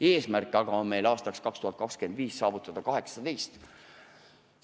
Eesmärk aga on aastaks 2025 saavutada 18%.